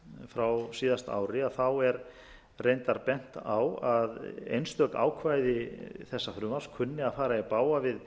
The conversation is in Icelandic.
frá síðasta ári er reyndar bent á að einstök ákvæði þessa frumvarps kunni að fara í bága við